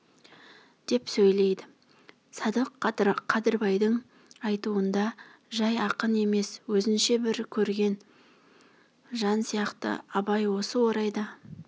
деп сөйлейді садық қадырбайдың айтуында жай ақын емес өзінше бір көреген жан сияқты абай осы орайда